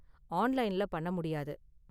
ஆன்லைன்ல பண்ண முடியாது.